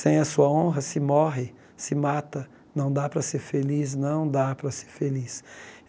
Sem a sua honra, se morre, se mata, não dá para ser feliz, não dá para ser feliz.